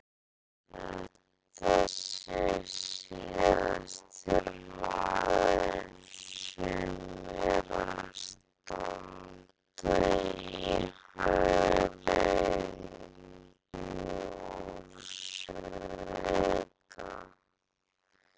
Ég held að þetta sé síðasti maðurinn sem er að standa í hagræðingu úrslita.